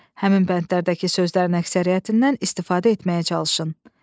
Həmin bəndlərdəki sözlərin əksəriyyətindən istifadə etməyə çalışın.